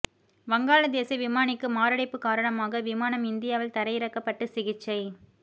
வங்காள தேச விமானிக்கு மாரடைப்பு காரணமாக விமானம் இந்தியாவில் தரையிறக்கப்பட்டு சிகிச்சை